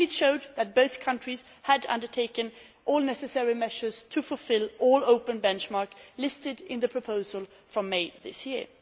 It showed that both countries had undertaken all necessary measures to fulfil all open benchmarks listed in the proposal of May this year.